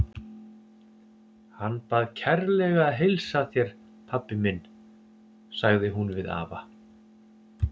Hann bað kærlega að heilsa þér, pabbi minn, sagði hún við afa.